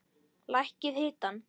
Lækkið hitann.